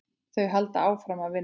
Þau halda áfram að vinna.